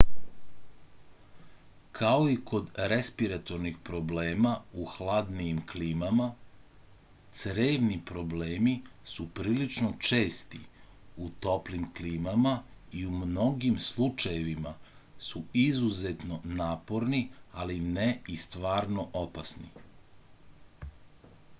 kao i kod respiratornih problema u hladnijim klimama crevni problemi su prilično česti u toplim klimama i u mnogim slučajevima su izuzetno naporni ali ne i stvarno opasni